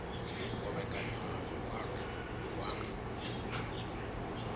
u kovhekanywa ha muhwalo wa